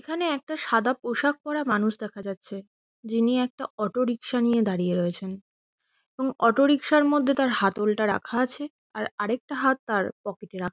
এখানে একটা সাদা পোশাক পড়া মানুষ দেখা যাচ্ছে। যিনি একটা অটো রিকশা নিয়ে দাঁড়িয়ে রয়েছেন এবং অটো রিকশার মধ্যে তার হাতলটা রাখা আছে আর আরেকটা হাত তার পকেট -এ রাখা--